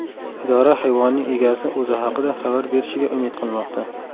Idora hayvonning egasi o‘zi haqida xabar berishiga umid qilmoqda.